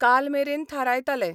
कालमेरेन थारायताले.